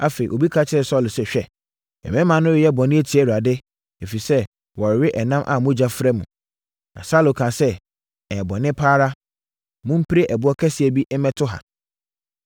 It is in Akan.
Afei, obi ka kyerɛɛ Saulo sɛ, “Hwɛ! Mmarima no reyɛ bɔne atia Awurade, ɛfiri sɛ, wɔrewe ɛnam a mogya fra mu.” Na Saulo kaa sɛ, “Ɛyɛ bɔne pa ara. Mompire ɛboɔ kɛseɛ bi mmɛto ha.